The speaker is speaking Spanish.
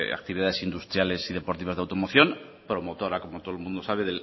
actividades industriales y deportivas de automoción promotora como todo el mundo sabe